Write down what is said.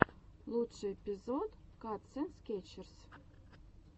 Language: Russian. лучший эпизод катсэндскрэтчес